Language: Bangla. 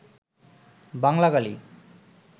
বাংলা গালি